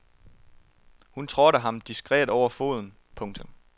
Hun trådte ham diskret over foden. punktum